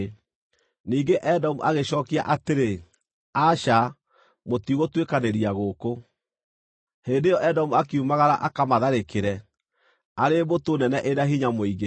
Ningĩ Edomu agĩcookia atĩrĩ: “Aca, mũtigũtuĩkanĩria gũkũ.” Hĩndĩ ĩyo Edomu akiumagara akamatharĩkĩre, arĩ mbũtũ nene ĩna hinya mũingĩ.